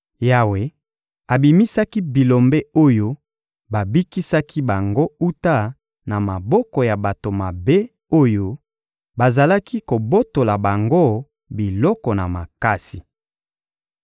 Yawe abimisaki Bilombe oyo babikisaki bango wuta na maboko ya bato mabe oyo bazalaki kobotola bango biloko na makasi.